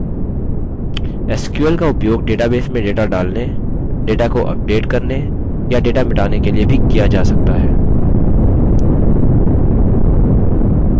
sql का उपयोग database में data डालने data को अपडेट करने या data मिटाने के लिए भी किया जा सकता हैं